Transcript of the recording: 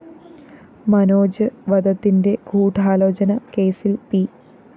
മനോജ് വധത്തിന്റെ ഗൂഢാലോചന കേസില്‍ പി